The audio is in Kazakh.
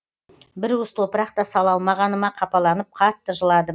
бір уыс топырақ та сала алмағаныма қапаланып қатты жыладым